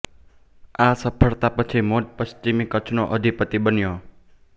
આ સફળતા પછી મોડ પશ્ચિમી કચ્છનો અધિપતિ બન્યો